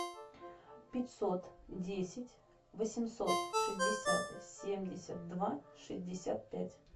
пятьсот десять восемьсот шестьдесят семьдесят два шестьдесят пять